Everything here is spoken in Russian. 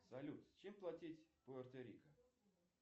салют чем платить в пуэрто рико